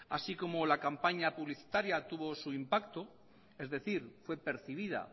así como la campaña publicitaria tuvo su impacto es decir fue percibida